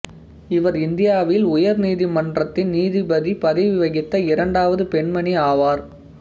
இவர் இந்தியாவில் உயர்நீதிமன்றத்தின் நீதிபதி பதவிவகித்த இரண்டாவது பெண்மணி ஆவார்